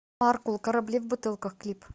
маркул корабли в бутылках клип